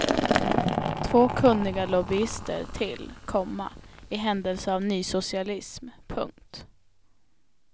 Två kunniga lobbyister till, komma i händelse av nysocialism. punkt